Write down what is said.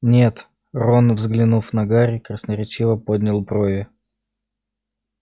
нет рон взглянув на гарри красноречиво поднял брови